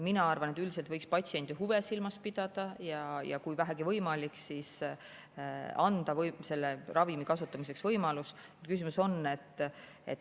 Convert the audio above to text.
Mina arvan, et üldiselt võiks patsiendi huve silmas pidada ja kui vähegi võimalik, siis anda võimalus ravimi kasutamiseks.